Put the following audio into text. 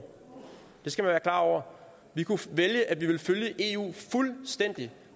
det skal man være klar over vi kunne vælge at vi ville følge eu fuldstændig